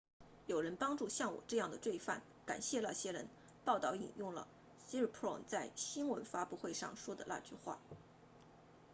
有人帮助像我这样的罪犯感谢那些人报道引用了 siriporn 在新闻发布会上说的那句话